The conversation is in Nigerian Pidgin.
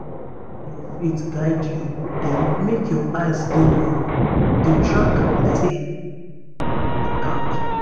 if na your faith guide you then make your eyes dey ground. dey track like say na gold you dey count.